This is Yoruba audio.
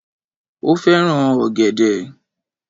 Ó fẹ́ràn ọ̀gẹ̀dẹ̀